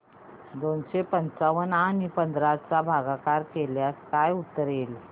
दोनशे पंच्याण्णव आणि पंधरा चा भागाकार केल्यास काय उत्तर येईल